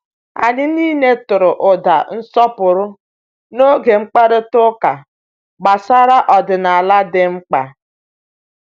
Anyị niile tụrụ ụda nsọpụrụ n’oge mkparịta ụka gbasara ọdịnala dị mkpa.